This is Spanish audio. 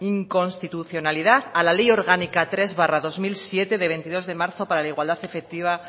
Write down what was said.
inconstitucionalidad a la ley orgánica tres barra dos mil siete de veintidós de marzo para la igualdad efectiva